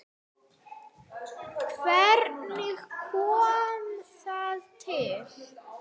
Hvernig kom það til?